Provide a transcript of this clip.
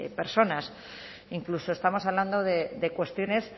personas incluso estamos hablando de cuestiones